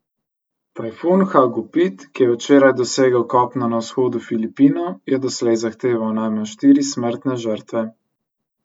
Tajfun Hagupit, ki je včeraj dosegel kopno na vzhodu Filipinov, je doslej zahteval najmanj štiri smrtne žrtve.